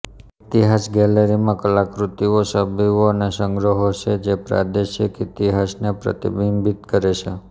ઇતિહાસ ગેલેરીમાં કલાકૃતિઓ છબીઓ અને સંગ્રહો છે જે પ્રાદેશિક ઇતિહાસને પ્રતિબિંબિત કરે છે